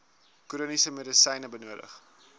chroniese medisyne benodig